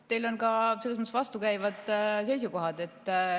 Teil on mõnes mõttes vastukäivad seisukohad.